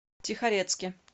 тихорецке